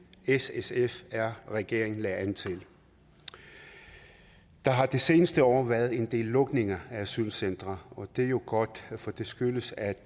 s s sf r regeringen lagde an til der har de seneste år været en del lukninger af asylcentre og det er jo godt for det skyldes at